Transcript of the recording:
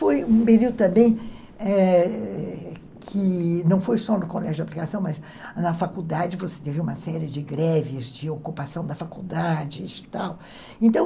Foi um período também, é, que não foi só no colégio de aplicação, mas na faculdade você teve uma série de greves, de ocupação da faculdade.